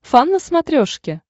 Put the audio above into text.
фан на смотрешке